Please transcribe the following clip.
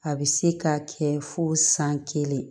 A bɛ se k'a kɛ fo san kelen